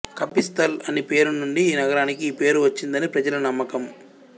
కపిస్థల్ అని పేరు నుండి ఈ నగరానికి ఈ పేరు వచ్చిందని ప్రజల నమ్మకం